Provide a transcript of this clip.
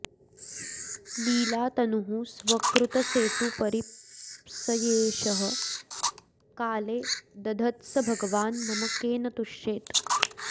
लीलातनूः स्वकृतसेतुपरीप्सयेशः काले दधत्स भगवान् मम केन तुष्येत्